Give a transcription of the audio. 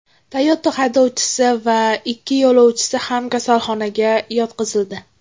Toyota haydovchisi va ikki yo‘lovchisi ham kasalxonaga yotqizildi.